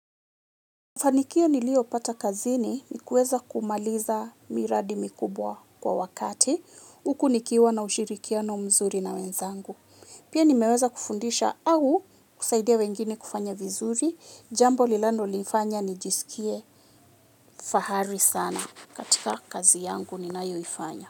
Fanikio niliyopata kazini, nikuweza kumaliza miradi mikubwa kwa wakati. Huku nikiwa na ushirikiano mzuri na wenzangu. Pia nimeweza kufundisha au kusaidia wengine kufanya vizuri. Jambo linalonifanya nijisikie fahari sana katika kazi yangu ninayo ifanya.